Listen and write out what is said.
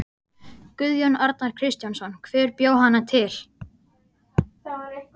Guðjón Arnar Kristjánsson: Hver bjó hana til?